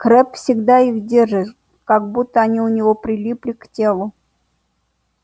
крэбб всегда их держит как будто они у него прилипли к телу